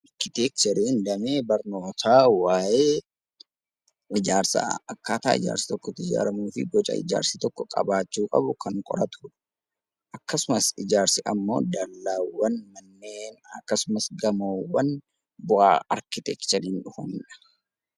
Arkiteekchariin damee barnootaa waa'ee ijaarsaa, akkaataa ijaarsi tokko itti ijaaramuu fi boca ijaarsi tokko qabaachuu qabu kan qoratudha. Ijaarsi ammoo dallaawwan, manneen, akkasumas gamoowwan bu'aa arkiteekchariin dhufanidha.